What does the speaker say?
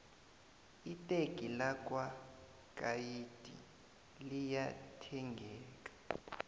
iteki lakwo nayikhi liya thengeka